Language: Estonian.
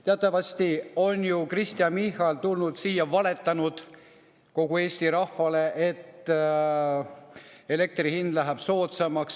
Teatavasti on ju Kristen Michal tulnud siia ja valetanud kogu Eesti rahvale, et elektri hind läheb soodsamaks.